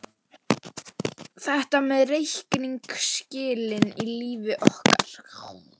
Þetta með reikningsskilin í lífi okkar.